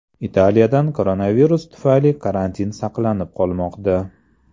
Italiyada koronavirus tufayli karantin saqlanib qolmoqda.